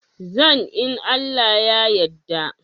Zan in Allah ya yadda.